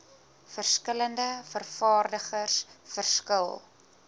verskillende vervaardigers verskil